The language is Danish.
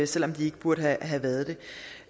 selv om de ikke burde have været